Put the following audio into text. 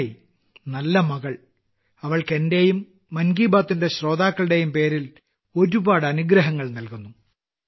നന്നായി നല്ല മകൾ അവൾക്ക് എന്റെയും മൻ കി ബാത്തിന്റെ ശ്രോതാക്കളുടെയും പേരിൽ ഒരുപാട് അനുഗ്രഹങ്ങൾ നൽകുന്നു